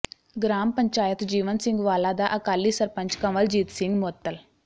ਗਰਾਮ ਪੰਚਾਇਤ ਜੀਵਨ ਸਿੰਘ ਵਾਲਾ ਦਾ ਅਕਾਲੀ ਸਰਪੰਚ ਕੰਵਲਜੀਤ ਸਿੰਘ ਮੁਅੱਤਲ